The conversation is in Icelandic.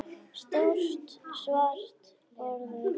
Stórt svart borð við glugga.